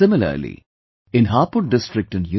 Similarly in Hapur district in U